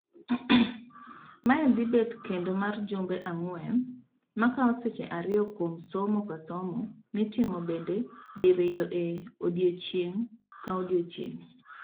Mae dhibet kendo mar jumbe ang'wen makawo seche ariyo kuom somo kasomo mitimo bende diriyo e odiechieng' kodiechieng'.